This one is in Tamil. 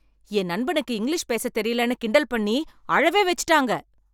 என் நண்பனுக்கு இங்கிலீஷ் பேச தெரியலைன்னு கிண்டல் பண்ணி அழவே வெச்சுட்டாங்க.